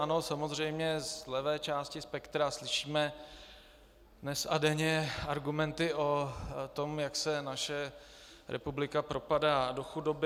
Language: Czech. Ano, samozřejmě, z levé části spektra slyšíme dnes a denně argumenty o tom, jak se naše republika propadá do chudoby.